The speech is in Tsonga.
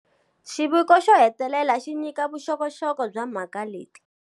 Xiviko xo hetelela xi nyika vuxokoxoko bya mhaka leti.